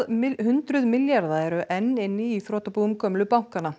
hundruð milljarða eru enn inni í þrotabúum gömlu bankanna